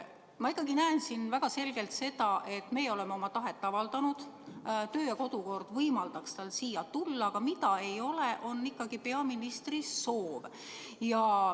Ma ikkagi näen siin väga selgelt seda, et meie oleme oma tahet avaldanud, töö- ja kodukord võimaldaks tal siia tulla, aga mida ei ole, on peaministri soov.